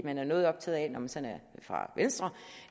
man er noget optaget af når man sådan er fra venstre